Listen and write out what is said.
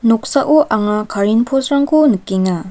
noksao anga karen post-rangko nikenga.